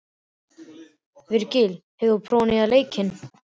Virgill, hefur þú prófað nýja leikinn?